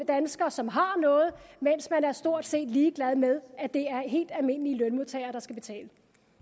danskere som har noget mens man er stort set ligeglad med at det er helt almindelige lønmodtagere der skal betale